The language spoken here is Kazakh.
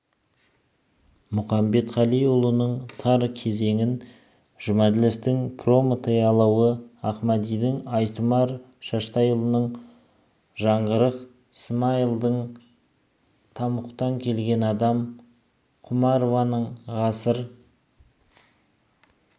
мұқамбетқалиұлының тар кезең жұмәділовтың прометей алауы ахмадидің айтұмар шаштайұлының жаңғырық смайылдың тамұқтан келген адам құмарованың ғасыр